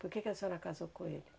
Por que que a senhora casou com ele?